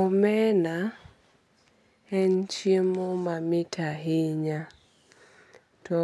Omena en chiemo mamit ahinya. To